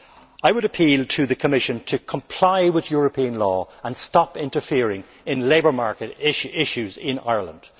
I would appeal to the Commission to comply with European law and stop interfering in labour market issues in Ireland.